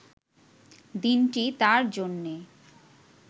দিনটি তাঁর জন্যে